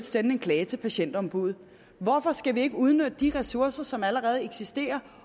sende en klage til patientombuddet hvorfor skal vi ikke udnytte de ressourcer som allerede eksisterer